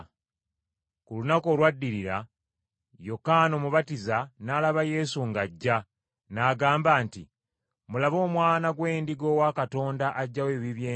Ku lunaku olwaddirira, Yokaana Omubatiza n’alaba Yesu ng’ajja, n’agamba nti, “Mulabe Omwana gw’Endiga owa Katonda aggyawo ebibi by’ensi.